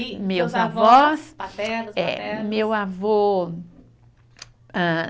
avós paternos, maternos? Eh, meu avô, hã